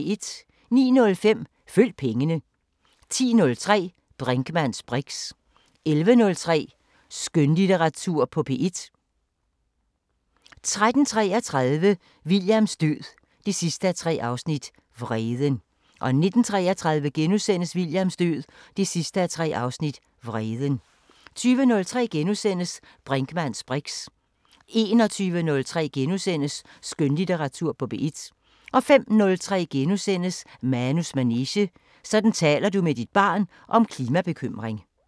09:05: Følg pengene 10:03: Brinkmanns briks 11:03: Skønlitteratur på P1 13:33: Williams død 3:3 – Vreden 19:33: Williams død 3:3 – Vreden * 20:03: Brinkmanns briks * 21:03: Skønlitteratur på P1 * 05:03: Manus manege: Sådan taler du med dit barn om klimabekymring *